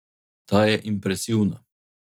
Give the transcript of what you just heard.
Ta je impresivna.